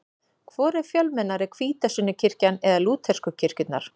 Hvor er fjölmennari, hvítasunnukirkjan eða lútersku kirkjurnar?